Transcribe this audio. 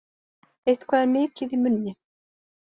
Eitthvað er mikið í munni